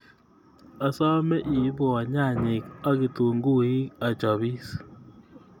Asome iipwa nyanyek ak kitunguik achapis